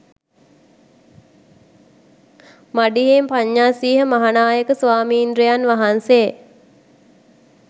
මඩිහේ පඤ්ඤාසීහ මහානායක ස්වාමීන්ද්‍රයන් වහන්සේ